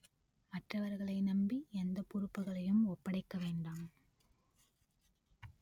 மற்றவர்களை நம்பி எந்த பொறுப்புகளையும் ஒப்படைக்க வேண்டாம்